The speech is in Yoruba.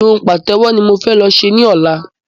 Irun pàtẹ́wọ́ ni mo fẹ́ lọ ṣe ní ọ̀la